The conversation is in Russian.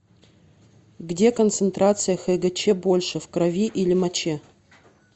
где концентрация хгч больше в крови или моче